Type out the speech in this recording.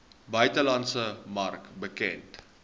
buitelandse mark bekend